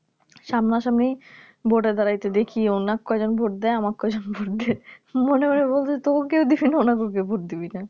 সামনে সামনি ভোটে এ দাঁড়াতে দেখি ওনাকে কয়জন ভোট দেয় আমাকে কয়জন ভোট দেয় মনে মনে বলছে তোকেও দিবি না ওনাকেও কেউ ভোট দিবি না